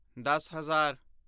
ਦੱਸ ਹਜ਼ਾਰ